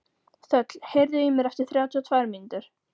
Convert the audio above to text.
Þöll, heyrðu í mér eftir þrjátíu og tvær mínútur.